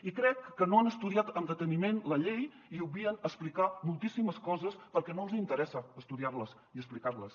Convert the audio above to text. i crec que no han estudiat amb deteniment la llei i obvien explicar moltíssimes coses perquè no els interessa estudiar les i explicar les